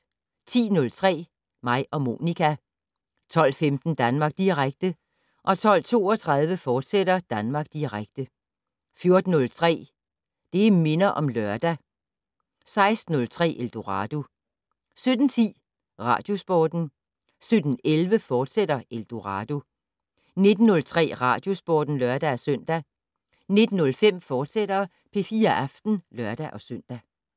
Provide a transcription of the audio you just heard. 10:03: Mig og Monica 12:15: Danmark Direkte 12:32: Danmark Direkte, fortsat 14:03: Det' Minder om Lørdag 16:03: Eldorado 17:10: Radiosporten 17:11: Eldorado, fortsat 19:03: Radiosporten (lør-søn) 19:05: P4 Aften, fortsat (lør-søn)